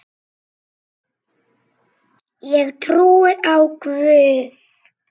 Ég trúi á Guð!